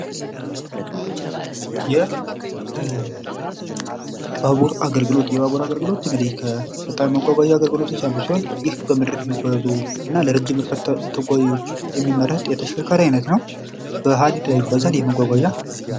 የባቡር አገልግሎት የባቡር አገልግሎት እንግዲህ ከመጓጓዣ አገልግሎት አንዱ ሲሆን በምድር የሚጓዙ እና ለረጅም ርቀት ተጓዦች የሚመረጥ የተሽከርካሪ አይነት ነው በሀዲድ ላይ ይጓዛል ይሄ መጓጓዣ።